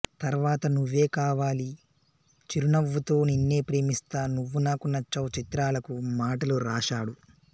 తర్వాత నువ్వే కావాలి చిరునవ్వుతో నిన్నే ప్రేమిస్తా నువ్వు నాకు నచ్చావ్ చిత్రాలకు మాటలు రాశాడు